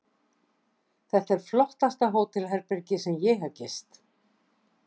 Þetta er flottasta hótelherbergi sem ég hef gist.